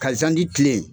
Ka zandi kilen